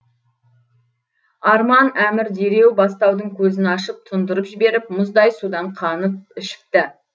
арман әмір дереу бастаудың көзін ашып тұндырып жіберіп мұздай судан қанып ішіпті